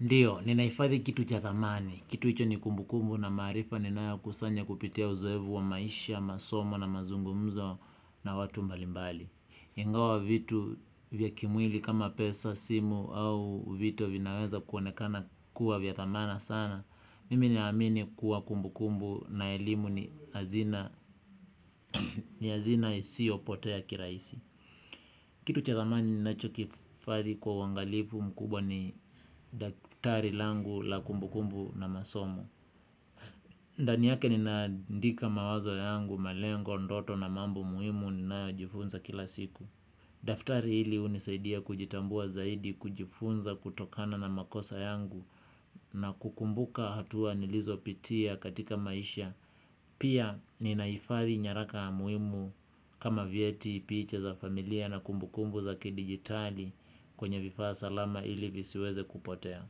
Ndiyo, ninaifadhi kitu cha dhamani. Kitu hicho ni kumbu kumbu na maarifa ninayo kusanya kupitia uzoevu wa maisha, masomo na mazungumzo na watu mbalimbali. Ingawa vitu vya kimwili kama pesa, simu au vitu vinaweza kuwanekana kuwa vya thamana sana. Mimi naamini kuwa kumbu kumbu na elimu ni hazina isio potea kiraisi. Kitu cha thamani nachokifadhi kwa uwangalifu mkubwa ni daftari langu la kumbukumbu na masomo. Ndani yake ninaadika mawazao yangu malengo ndoto na mambo muhimu ninayojifunza kila siku. Daftari hili unisaidia kujitambua zaidi kujifunza kutokana na makosa yangu na kukumbuka hatua nilizo pitia katika maisha. Pia ninaifadhii nyaraka muhimu kama vyeti piche za familia na kumbu kumbu za kidigitali kwenye vifaa salama ili visiweze kupotea.